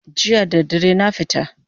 Jiya da dare na fita